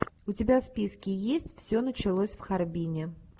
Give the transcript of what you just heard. у тебя в списке есть все началось в харбине